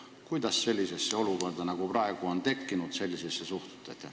Kuidas te suhtute sellisesse olukorda, mis praegu on tekkinud?